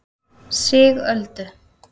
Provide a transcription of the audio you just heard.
Sigöldu